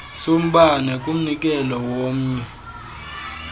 sombane kumnikelo womnye